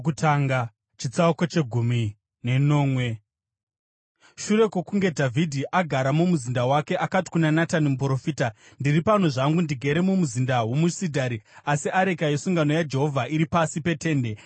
Shure kwokunge Dhavhidhi agara mumuzinda wake akati kuna Natani muprofita, “Ndiri pano zvangu ndigere mumuzinda womusidhari, asi areka yesungano yaJehovha iri pasi peTende.”